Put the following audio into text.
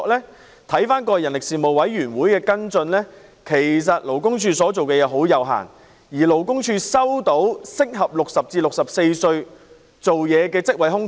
根據立法會人力事務委員會過往的跟進，其實勞工處所做的相當有限，而勞工處亦極少收到適合60至64歲人士的職位空缺。